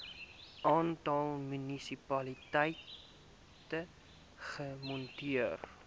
aantal munisipaliteite gemoniteer